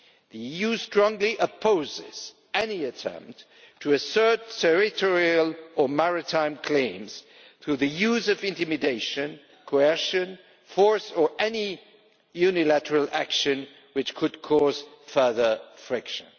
The EU strongly opposes any attempt to assert territorial or maritime claims through the use of intimidation, coercion, force or any unilateral action which could cause further friction.